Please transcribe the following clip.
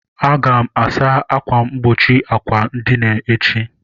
Aga m asa akwa mkpuchi àkwà edina echi.